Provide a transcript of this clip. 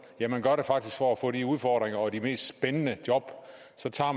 ja man gør det faktisk for at få udfordringer og de mest spændende job